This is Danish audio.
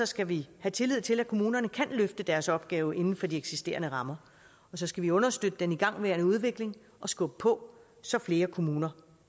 skal vi have tillid til at kommunerne kan løfte deres opgave inden for de eksisterende rammer og så skal vi understøtte den igangværende udvikling og skubbe på så flere kommuner